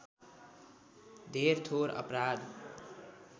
धेर थोर अपराध